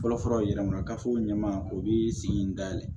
Fɔlɔfɔlɔ yɛrɛ ma gafew ɲɛma o bi sigi in dayɛlɛ